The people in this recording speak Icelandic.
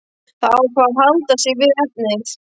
Það ákvað að halda sig við efnið.